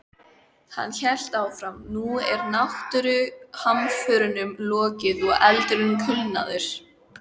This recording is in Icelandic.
Hann hélt áfram: Nú er náttúruhamförunum lokið og eldurinn kulnaður.